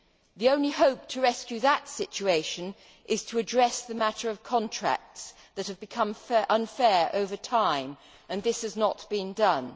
The only hope to rescue that situation is to address the matter of contracts that have become unfair over time, and this has not been done.